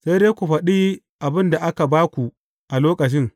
Sai dai ku faɗi abin da aka ba ku a lokacin.